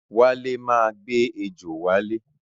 Wale máa gbé ejò wálé.